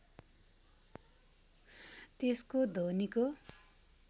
त्यसको ध्वनिको